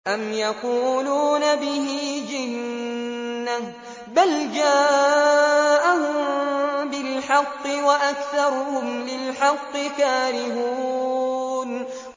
أَمْ يَقُولُونَ بِهِ جِنَّةٌ ۚ بَلْ جَاءَهُم بِالْحَقِّ وَأَكْثَرُهُمْ لِلْحَقِّ كَارِهُونَ